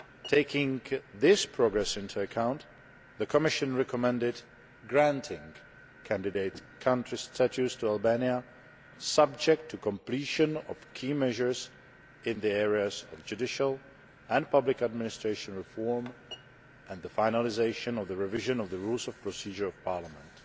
Taking this progress into account, the Commission recommended granting candidate country status to Albania, subject to completion of key measures in the areas of judicial and public administration reform and the finalisation of the revision of the rules of procedure of parliament.